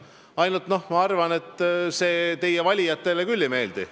Ainult et ma arvan, et see teie valijatele küll ei meeldi.